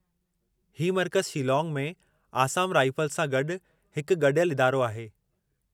ही मर्कज़ु शीलांग में आसाम राइफ़ल्ज़ सां गॾु हिकु गॾियल इदारो आहे।